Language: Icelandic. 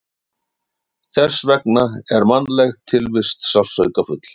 Þess vegna er mannleg tilvist sársaukafull.